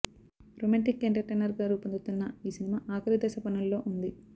romantic entertainer గా రూపొందుతున్న ఈ సినిమా ఆఖరి దశ పనుల్లో ఉంది